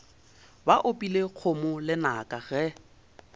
ba opile kgomo lenaka ge